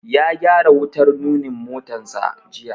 Ya gyara wutar nunin motansa jiya.